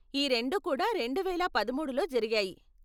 ఈ రెండు కూడా రెండువేల పదమూడులో జరిగాయి.